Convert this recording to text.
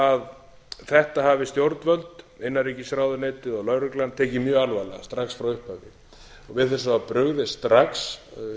að þetta afar stjórnvöld innanríkisráðuneytið og lögreglan tekið mjög alvarlega strax frá upphafi við þessu var brugðist strax